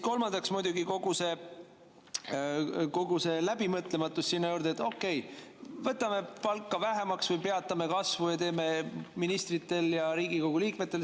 Kolmandaks, muidugi kogu see läbimõtlematus sinna juurde, et okei, võtame palka vähemaks või peatame selle kasvu ministritel ja Riigikogu liikmetel.